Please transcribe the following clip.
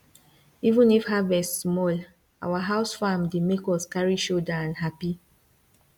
even if harvest small our house farm dey make us carry shouder and happy